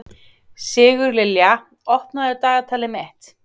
Sigurlilja, opnaðu dagatalið mitt.